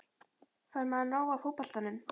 Fær maður nóg af fótboltanum?